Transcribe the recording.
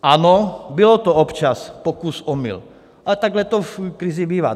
Ano, byl to občas pokus - omyl, ale takhle to v krizi bývá.